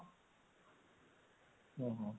ହଁ ହଁ